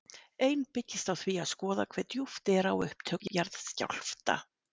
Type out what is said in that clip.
Ein byggist á því að skoða hve djúpt er á upptök jarðskjálfta.